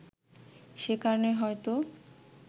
সে কারণেই হয়তো